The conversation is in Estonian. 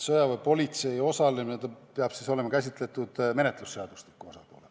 Sõjaväepolitsei osalemist peab käsitlema kriminaalmenetluse seadustikuga seoses.